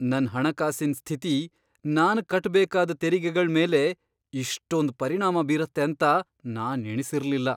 ನನ್ ಹಣಕಾಸಿನ್ ಸ್ಥಿತಿ ನಾನ್ ಕಟ್ಬೇಕಾದ್ ತೆರಿಗೆಗಳ್ಮೇಲೆ ಇಷ್ಟೊಂದ್ ಪರಿಣಾಮ ಬೀರತ್ತೆ ಅಂತ ನಾನ್ ಎಣಿಸಿರ್ಲಿಲ್ಲ.